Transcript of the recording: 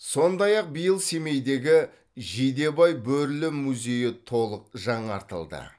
сондай ақ биыл семейдегі жидебай бөрілі музейі толық жаңартылды